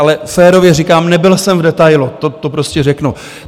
Ale férově říkám, nebyl jsem v detailu, to prostě řeknu.